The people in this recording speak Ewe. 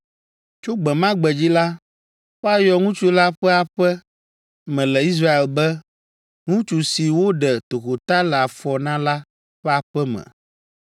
Tso gbe ma gbe dzi la, woayɔ ŋutsu la ƒe aƒe me le Israel be, ‘Ŋutsu si woɖe tokota le afɔ na la ƒe aƒe me!’